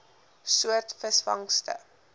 soort visvangste